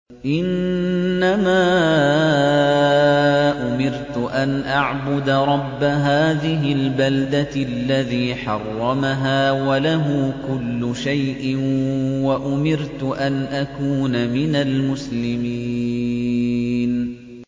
إِنَّمَا أُمِرْتُ أَنْ أَعْبُدَ رَبَّ هَٰذِهِ الْبَلْدَةِ الَّذِي حَرَّمَهَا وَلَهُ كُلُّ شَيْءٍ ۖ وَأُمِرْتُ أَنْ أَكُونَ مِنَ الْمُسْلِمِينَ